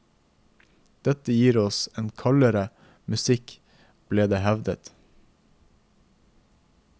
Dette gir oss en kaldere musikk, ble det hevdet.